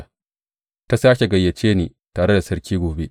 Ta sāke gayyace ni tare da sarki gobe.